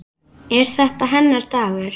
Er þetta hennar dagur?